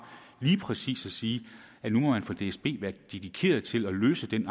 lige præcis at sige at nu må man fra dsbs side være dedikeret til at løse den